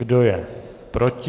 Kdo je proti?